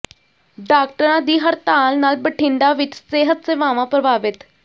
ਡਾਕਟਰਾਂ ਦੀ ਹੜਤਾਲ ਨਾਲ ਬਠਿੰਡਾ ਵਿੱਚ ਸਿਹਤ ਸੇਵਾਵਾਂ ਪ੍ਰਭਾਵਿਤ